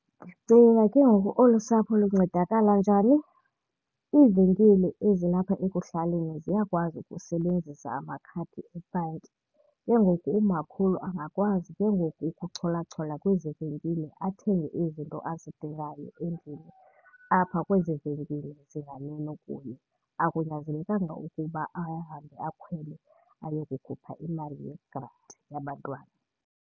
Ndicinga ke ngoku olu sapho luncedakala njani? Iivenkile ezilapha ekuhlaleni ziyakwazi ukusebenzisa amakhadi ebhanki. Ke ngoku umakhulu angakwazi ke ngoku ukucholachola kwezi venkile, athenge izinto azidingayo endlini apha kwezi venkile zinganeno kuye. Akunyanzelekanga ukuba ahambe akhwele ayokukhupha imali yegranti yabantwana.